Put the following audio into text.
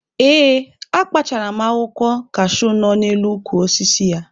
Ee, akpachara m akwụkwọ kashuu nọ n'elu ukwu osisi ya.